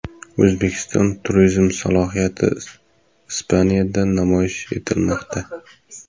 O‘zbekiston turizm salohiyati Ispaniyada namoyish etilmoqda.